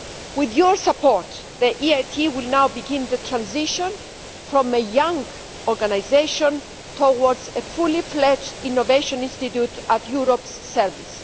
With your support, the EIT will now begin the transition from a young organisation towards a fully fledged innovation institute at Europe's service.